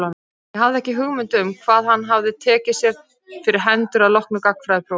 Ég hafði ekki hugmynd um hvað hann hafði tekið sér fyrir hendur að loknu gagnfræðaprófi.